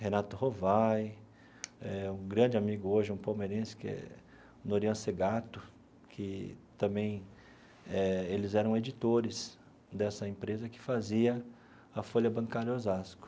Renato Rovai eh, um grande amigo hoje, um palmeirense, que é Norian Segatto, que também eh eles eram editores dessa empresa que fazia a Folha Bancária Osasco.